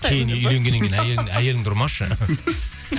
кейін үйленгеннен кейін әйеліңді ұрмашы